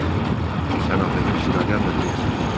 Artur, sən axı heç italyan da deyilsən.